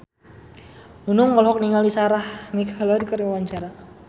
Nunung olohok ningali Sarah McLeod keur diwawancara